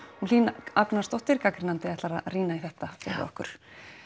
hún Hlín Agnarsdóttir gagnrýnandi ætlar að rýna í þetta með okkur